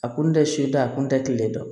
A kun tɛ suda a kun tɛ kile dɔn